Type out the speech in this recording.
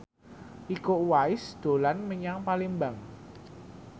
Iko Uwais dolan menyang Palembang